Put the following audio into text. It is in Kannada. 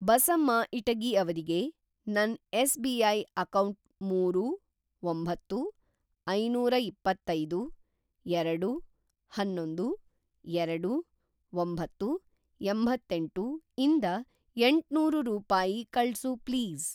ಬಸಮ್ಮ ಇಟಗಿ ಅವ್ರಿಗೆ ನನ್‌ ಎಸ್‌.ಬಿ.ಐ. ಅಕೌಂಟ್‌ ಮೂರು, ಒಂಬತ್ತು, ಐನೂರಇಪ್ಪತ್ತೈದು, ಎರಡು, ಅನ್ನೊಂದು, ಎರಡು, ಒಂಬತ್ತು, ಎಂಬತ್ತೇಂಟು ಇಂದ ಎಂಟ್ನೂರು ರೂಪಾಯಿ ಕಳ್ಸು ಪ್ಲೀಸ್.